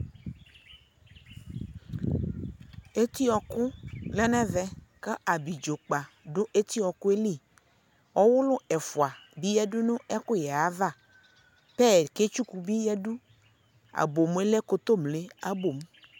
Etiɔkʋ lɛ nʋ ɛvɛ kʋ abidzokpa dʋ etiɔkʋ yɛ li Ɔwʋlʋ ɛfua bi yadu nʋ ɛkʋyɛ yɛ ava Pɛya ketsʋkʋ bi yadu Abomʋ yɛ lɛ kotomle ayʋ abomʋ